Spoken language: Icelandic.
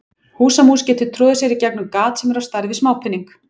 Húsamús getur troðið sér í gegnum gat sem er á stærð við smápening.